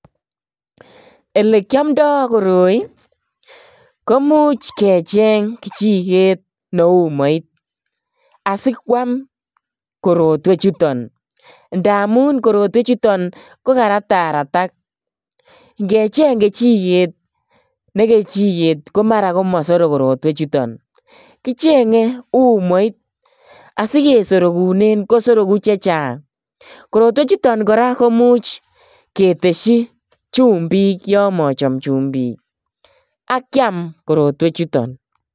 Elekiamndo koroi momuch kecheng kichiget neu umoit asikwam korotwechuton. Ndamun korotwechuton kokararak. Ngecheng kechiget ne kechiget ko mara komasorok korotwechuton. Kichenge umoit asikesorogunen kosorogu che chang. Korotwechuton kora komuch ketesyi chumbik yon mochomchumbik ak kiam korotwechuton